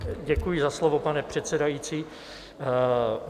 Děkuji za slovo, pane předsedající.